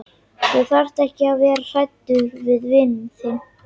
Þú þarft ekki að vera hræddur við vin þinn.